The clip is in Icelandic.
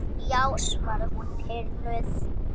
Já, svaraði hún pirruð.